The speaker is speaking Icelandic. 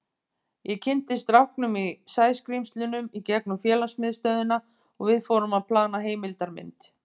Ég kynntist strákunum í Sæskrímslunum í gegnum félagsmiðstöðina og við fórum að plana heimildarmynd.